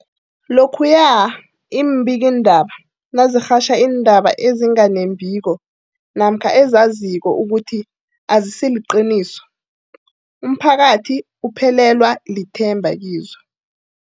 Lokhuya iimbikiindaba nazirhatjha iindaba ezinga nembiko namkha ezizaziko ukuthi azisiliqiniso, umphakathi uphelelwa lithemba kizo.